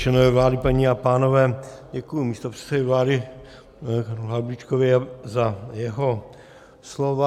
Členové vlády, paní a pánové, děkuji místopředsedovi vlády panu Havlíčkovi za jeho slova.